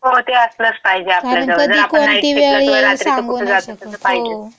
हो, ते असलचं पाहिजे आपल्याजवळ. जर आपण नाईट शिफ्टला किंवा रात्रीचं कुठे जात असेल तर पाहिजेच. कारण कधी कोणती वेळ येईल, सांगू नाही शकत. हो.